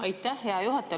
Aitäh, hea juhataja!